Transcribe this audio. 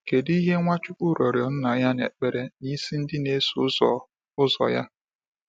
Kedụ ihe Nwachukwu rịọrọ Nna ya n"ekpere n"isi ndị n"eso ụzọ ụzọ ya?